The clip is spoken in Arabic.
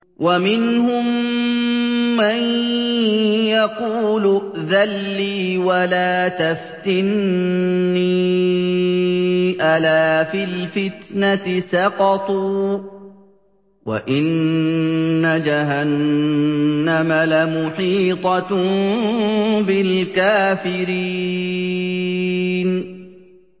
وَمِنْهُم مَّن يَقُولُ ائْذَن لِّي وَلَا تَفْتِنِّي ۚ أَلَا فِي الْفِتْنَةِ سَقَطُوا ۗ وَإِنَّ جَهَنَّمَ لَمُحِيطَةٌ بِالْكَافِرِينَ